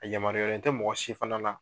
A yamaruyalen tɛ mɔgɔ si fana na